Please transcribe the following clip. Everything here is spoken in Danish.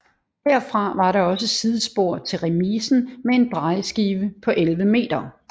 Herfra var der også sidespor til remisen med en drejeskive på 11 m